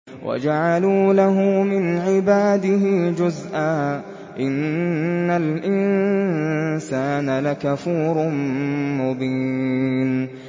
وَجَعَلُوا لَهُ مِنْ عِبَادِهِ جُزْءًا ۚ إِنَّ الْإِنسَانَ لَكَفُورٌ مُّبِينٌ